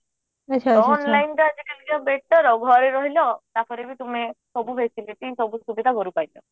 online ଟା ଟିକେ better ଆଉ ଘରେ ରହିଲ ତାପରେ ବି ତୁମେ ସବୁ facility ସବୁ ସୁବିଧା ଘରୁ ପାଇଲ